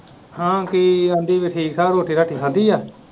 ਹਾਂ ਕੀ ਕਹਿੰਦੀ ਹੀ ਠੀਕ ਠਾਕ ਰੋਟੀ ਰਾਟੀ ਖਾਦੀ ਹੈ।